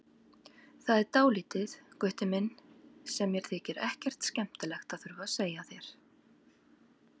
Það er dálítið, Gutti minn, sem mér þykir ekkert skemmtilegt að þurfa að segja þér.